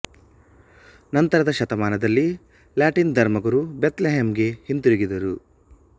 ನಂತರದ ಶತಮಾನದಲ್ಲಿ ಲ್ಯಾಟಿನ್ ಧರ್ಮಗುರು ಬೆಥ್ ಲೆಹೆಮ್ ಗೆ ಹಿಂತಿರುಗಿದರು